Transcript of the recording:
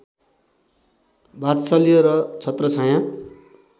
वात्सल्य र छत्रछायाँ